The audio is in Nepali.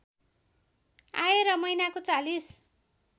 आए र महिनाको ४०